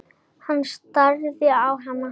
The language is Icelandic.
Hann starði á hana.